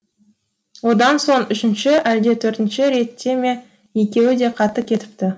одан соң үшінші әлде төртінші ретте ме екеуі де қатты кетіпті